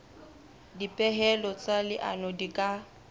dipehelo tsa leano di ka